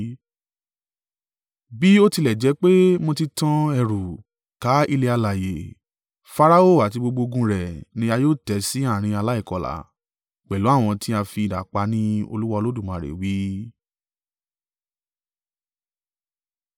Bí ó tilẹ̀ jẹ́ pé mo ti tan ẹ̀rù ká ilẹ̀ alààyè, Farao àti gbogbo ogun rẹ̀ ni a yóò tẹ́ sí àárín aláìkọlà, pẹ̀lú àwọn tí a fi idà pa ní Olúwa Olódùmarè wí.”